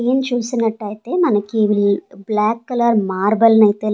నేను చూసినట్టయితే మనకి ఇవి బ్లాక్ కలర్ మార్బల్ ని అయితే--